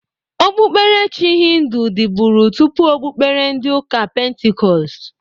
Okpuberechi hịndụ dịbụri tụpụ okpubere ndị ụka pentikọst.